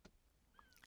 DR K